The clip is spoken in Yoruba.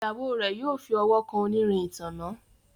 Ìyàwó rẹ yóò fí ọwọ kàn onírin ìtanná.